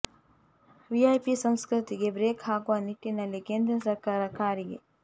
VIP ಸಂಸ್ಕೃತಿ ಗೆ brake ಹಾಕುವ ನಿಟ್ಟಿನಲ್ಲಿ ಕೇಂದ್ರ ಸರ್ಕಾರ ಕಾರಿಗೆ